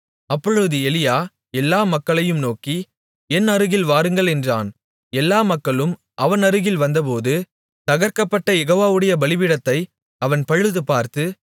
அப்பொழுது எலியா எல்லா மக்களையும் நோக்கி என் அருகில் வாருங்கள் என்றான் எல்லா மக்களும் அவன் அருகில் வந்தபோது தகர்க்கப்பட்ட யெகோவாவுடைய பலிபீடத்தை அவன் பழுதுபார்த்து